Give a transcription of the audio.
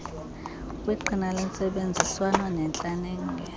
kwiqhina lentsebenziswano nentlaninge